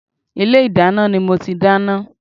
Ilé ìdáná ni mo ti dáná